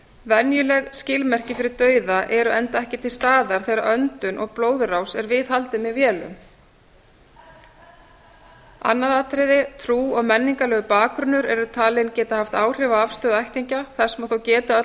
venjuleg skilmerki fyrir dauða eru enda ekki til staðar þegar öndun og blóðrás er viðhaldið með vélum aðra trú og menningarlegur bakgrunnur eru talin geta haft áhrif á afstöðu ættingja þess má þó geta að öll